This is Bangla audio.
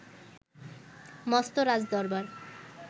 মস্ত রাজদরবার